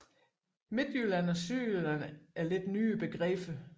Midtjylland og Sydjylland er lidt nyere begreber